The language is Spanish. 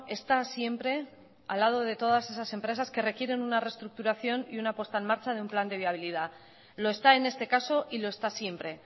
está siempre al lado de todas esas empresas que requieren una reestructuración y una puesta en marcha de un plan de viabilidad lo está en este caso y lo está siempre